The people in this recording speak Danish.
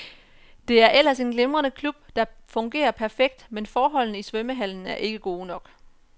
Det er ellers en glimrende klub, der fungerer perfekt, men forholdene i svømmehallen er ikke gode nok.